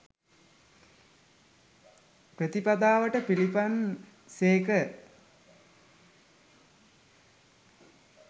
ප්‍රතිපදාවට පිළිපන් සේක.